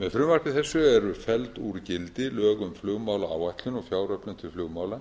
með frumvarpi þessu eru felld úr gildi lög um flugmálaáætlun og fjáröflun til flugmála